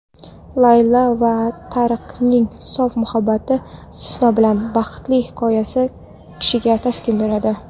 Laylo va Tariqning sof muhabbatining (istisno bilan) baxtli nihoyasi kishiga taskin beradi.